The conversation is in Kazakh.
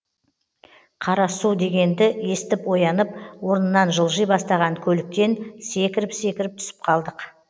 қарасу дегенді естіп оянып орнынан жылжи бастаған көліктен секіріп секіріп түсіп қалдық